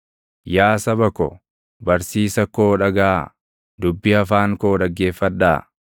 Yaa saba ko, barsiisa koo dhagaʼaa; dubbii afaan koo dhaggeeffadhaa.